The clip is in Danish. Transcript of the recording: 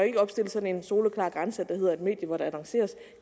ikke opstille sådan en soleklar grænse der hedder at et medie hvor der annonceres